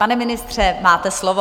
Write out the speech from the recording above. Pane ministře, máte slovo.